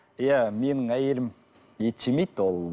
иә менің әйелім ет жемейді ол